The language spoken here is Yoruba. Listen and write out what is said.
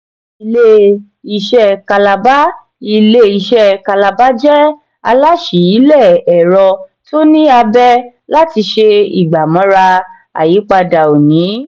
ilé-iṣé kalaba ilé-iṣé kalaba jẹ alásìíle ẹ̀rọ tó ní abé láti ṣe ìgbà-mọra àyípadà òní.